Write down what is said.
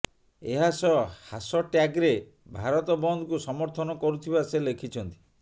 ଏହା ସହ ହାସଟ୍ୟାଗ୍ରେ ଭାରତ ବନ୍ଦକୁ ସମର୍ଥନ କରୁଥିବା ସେ ଲେଖିଛନ୍ତି